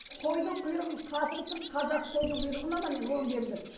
қойдың құйрығын қатырып тұрып қазақы қойдың құйрығын аламын мен он келілеп